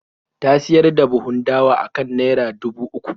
Ta siyar da buhun dawa akan naira dubu uku.